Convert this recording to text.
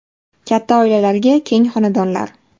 Katta oilalarga keng xonadonlar.